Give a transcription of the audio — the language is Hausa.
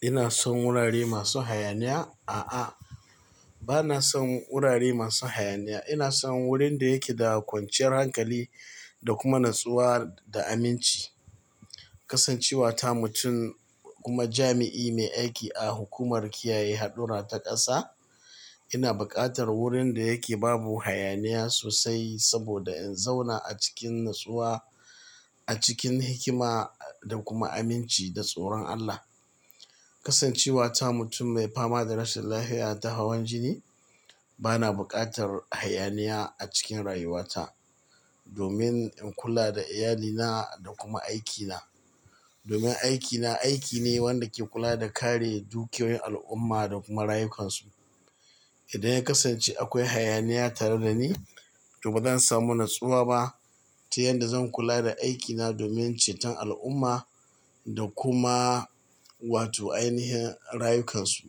Ina son wurare masu hayaniya? A'a, bana son wurare masu hayaniya. Ina son wurin da yake da kwanciyar hankali da kuma natsuwa da aminci. Kasancewa ta mutum kuma jami'i mai aiki a hukumar kiyaye haɗura ta ƙasa, ina buƙatar wurin da yake babu hayaniya sosai saboda in zauna a cikin natsuwa, a cikin hikima da kuma aminci da tsoron Allah. Kasancewa ta mutum mai fama da rashin lafiya ta hawan jini, bana buƙatar hayaniya a cikin rayuwata domin in kula da iyalina da kuma aikina. Domin aikina aiki ne wanda ke kula da kare dukiyoyin al'umma da kuma rayukansu. Idan ya kasance akwai hayaniya tare da ni, to ba zan samu natsuwa ba ta yanda zan kula da aikina domin ceton al'umma da kuma wato ainihin rayukansu.